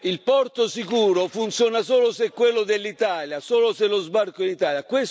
Il porto sicuro funziona solo se è quello dell'Italia, solo se lo sbarco è in Italia.